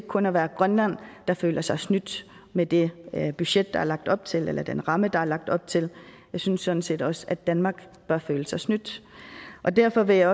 kun at være grønland der føler sig snydt med det budget der er lagt op til eller den ramme der er lagt op til jeg synes sådan set også at danmark bør føle sig snydt derfor vil